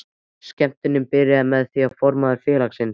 Skemmtunin byrjaði með því að formaður félagsins